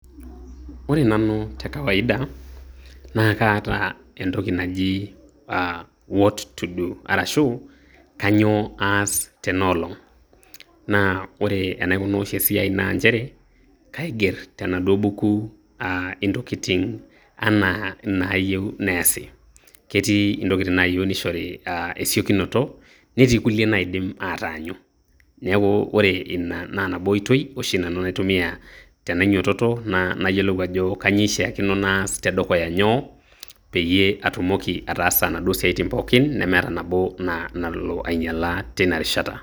Ore nanu tekawaida, naa kaata entoki naji ah, what to do arashu kainyoo aas tenaolong. Naa ore enaikunaa oshi esiai naa nchere, kaiger tenaduo buku ah intoki anaa inayeu neasi, ketii intokin nayeu neishori esiokinoto netii nadim ataanyu neaku ore ina naa nabo oitoi oshi nanu naitumia tenainyototo naa nayelou ajo kanyoo eishakino naas tedukuya nyoo peye atumoki ataasa naduo siatin pookin nemeata nabo ah nalo ainyala teina rishata.